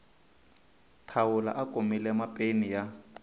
thawula a kumile mapeni ya